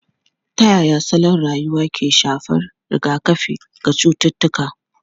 Ta yaya salon rayuwa ke shafar rigakafi ga cututtuka?